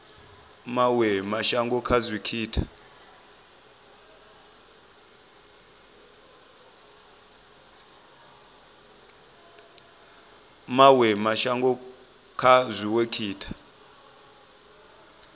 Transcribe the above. mawe mashango kha dziwe sekitha